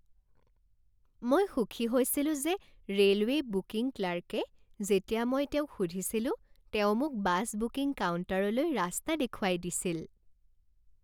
মই সুখী হৈছিলোঁ যে ৰে'লৱে' বুকিং ক্লাৰ্কে যেতিয়া মই তেওঁক সুধিছিলো তেওঁ মোক বাছ বুকিং কাউণ্টাৰলৈ ৰাস্তা দেখুৱাই দিছিল।